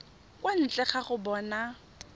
kwa ntle ga go bona